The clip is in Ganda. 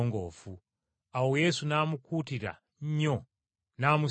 Awo Yesu n’amukuutira nnyo n’amusiibula,